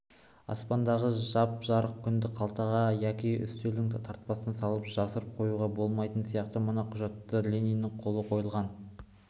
аспандағы жап-жарық күнді қалтаға яки үстелдің тартпасына салып жасырып қоюға болмайтыны сияқты мына құжатты да лениннің қолы қойылған